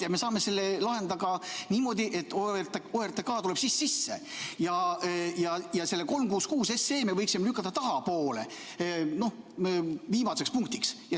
Ja me saame sellele lahendada ka niimoodi, et OTRK tuleb siis sisse ja selle 366 SE me võiksime lükata tahapoole, viimaseks punktiks.